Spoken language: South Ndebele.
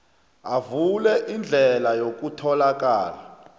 avule indlela yokutholakala